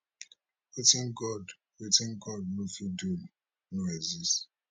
wetin god wetin god no fit do no exist